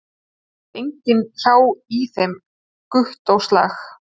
Það sat enginn hjá í þeim Gúttóslag